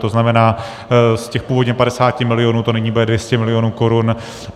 To znamená, z těch původně 50 milionů to nyní bude 200 milionů korun.